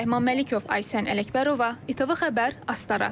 Rəhman Məlikov, Aysən Ələkbərova, ITV Xəbər, Astara.